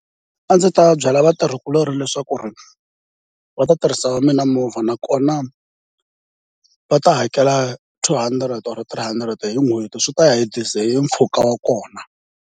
A ndzi ta byela vatirhikuloni leswaku va ta tirhisa wa mina movha, nakona va ta hakela two hundred or three hundred hi n'hweti swi ta ya hi diesel, hi mpfhuka wa kona.